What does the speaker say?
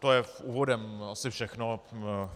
To je úvodem asi všechno.